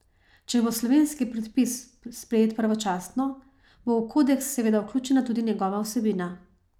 Če bo slovenski predpis sprejet pravočasno, bo v kodeks seveda vključena tudi njegova vsebina.